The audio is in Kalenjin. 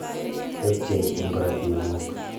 tebchei eng korotig guuk